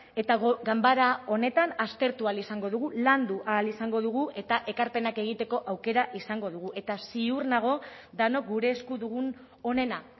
eta ganbara honetan aztertu ahal izango dugu landu ahal izango dugu eta ekarpenak egiteko aukera izango dugu eta ziur nago denok gure esku dugun onena